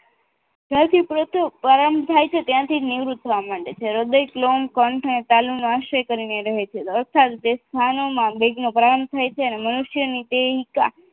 સૌથી પ્રથમ પ્રારંભ છે ત્યાંથી નિવૃત્ત થવા માંડે છે હૃદય શ્લોમ કંઠ અને તાલીમનો આશ્રય કરીને રહે છે અર્થાત તે સ્થાનોમાં વેગનો પ્રાણ થાય છે અને મનુષ્યનો દેવિકા